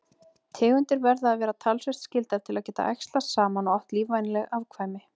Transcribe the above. Tegundir verða að vera talsvert skyldar til að geta æxlast saman og átt lífvænleg afkvæmi.